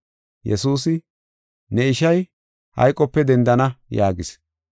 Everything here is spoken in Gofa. Yesuusi, “Ne ishay hayqope dendana” yaagis.